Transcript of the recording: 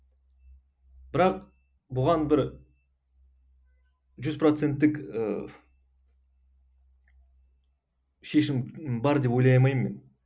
бірақ бұған бір жүз проценттік ыыы шешім бар деп ойлай алмаймын мен